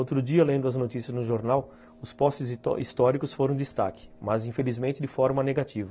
Outro dia, lendo as notícias no jornal, os postes históricos foram destaque, mas infelizmente de forma negativa.